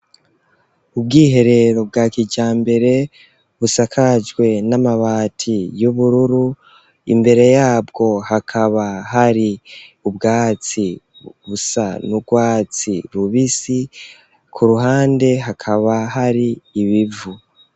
Ubwiherero, bwa kijambere, busakajwe n'amabati, y'ubururu; imbere yabwo, hakaba hari, ubwatsi, busa n'urwatsi rubisi, ku ruhande, hakaba hari ibivu.